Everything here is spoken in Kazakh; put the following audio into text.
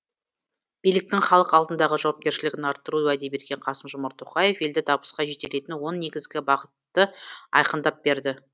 биліктің халық алдындағы жауапкершілігін арттыруға уәде берген қасым жомарт тоқаев елді табысқа жетелейтін он негізгі бағытты айқындап берді